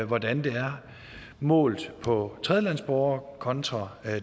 hvordan det er målt på tredjelandsborgere kontra